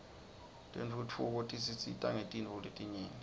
tentfutfuko tisisita ngetintfo letinyenti